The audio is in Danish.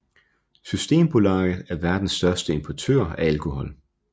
Systembolaget er verdens største importør af alkohol